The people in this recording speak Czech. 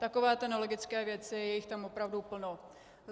Takovéto nelogické věci, je jich tam opravdu plno.